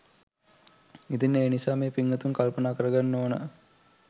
ඉතින් ඒ නිසා මේ පින්වතුන් කල්පනා කරගන්න ඕන